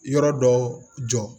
Yɔrɔ dɔ jɔ